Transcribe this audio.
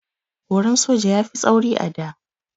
Horon soja ya fi tsauri a da.